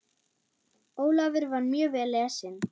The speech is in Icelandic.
Ólafur var mjög vel lesinn.